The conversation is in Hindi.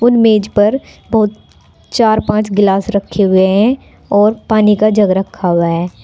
मेज पर बहुत चार पांच गिलास रखे हुए हैं और पानी का जग रखा हुआ है।